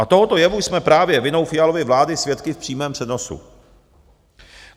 A tohoto jevu jsme právě vinou Fialovy vlády svědky v přímém přenosu.